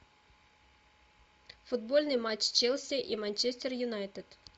футбольный матч челси и манчестер юнайтед